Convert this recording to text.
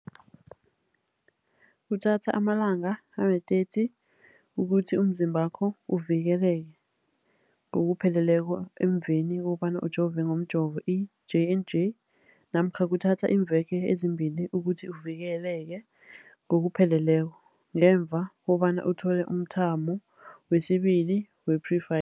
Kuthatha amalanga ama-30 ukuthi umzimbakho uvikeleke ngokupheleleko emveni kobana ujove ngomjovo i-J and J namkha kuthatha iimveke ezimbili ukuthi uvikeleke ngokupheleleko ngemva kobana uthole umthamo wesibili wePfi